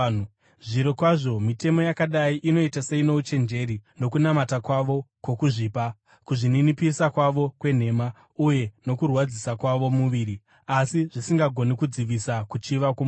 Zvirokwazvo mitemo yakadai inoita seino uchenjeri, nokunamata kwavo kwokuzvipa, kuzvininipisa kwavo kwenhema uye nokurwadzisa kwavo muviri, asi zvisingagoni kudzivisa kuchiva kwomuviri.